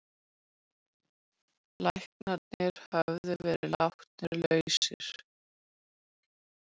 Læknarnir höfðu verið látnir lausir.